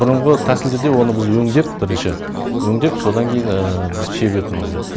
бұрынғы тәсілдерде оны біз өңдеп бірінші өңдеп содан кейін біз себетінбіз